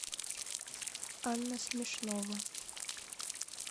анна смешнова